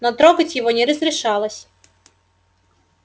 но трогать его не разрешалось